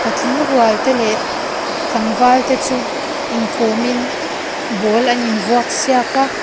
patling rual te leh tlangval te chu inkawmin ball an in vuak siak a.